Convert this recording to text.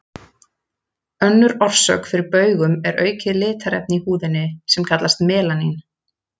Önnur orsök fyrir baugum er aukið litarefni í húðinni, sem kallast melanín.